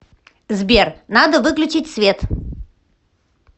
сбер надо выключить свет